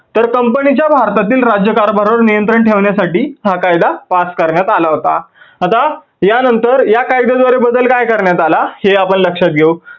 तर company च्या भारतातील राज्यकारभारावर नियंत्रण ठेवण्यासाठी हा काय pass करण्यात आला होता. आता या नंतर या कायद्यामध्ये बदल काय करण्यात आला हे आपण लक्षात घेऊ.